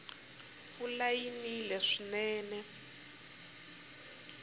mpfula yi nile swinene